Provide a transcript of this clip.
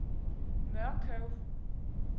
Mørkøv